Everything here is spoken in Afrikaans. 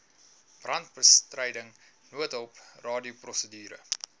brandbestryding noodhulp radioprosedure